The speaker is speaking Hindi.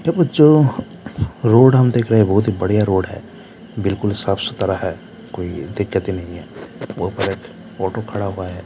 देखिए जो रोड हम देख रहे हैं बहुत ही बढ़िया रोड है बिल्कुल साफ-सुथरा है कोई दिकक्त ही नहीं है वो प्लट ऑटो खड़ा हुआ है ।